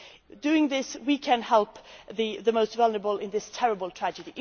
region. By doing this, we can help the most vulnerable in this terrible